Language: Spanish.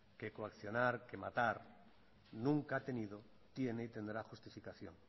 que coaccionar que matar nunca ha tenido tiene y tendrá justificación